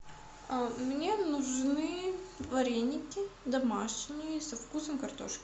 мне нужны вареники домашние со вкусом картошки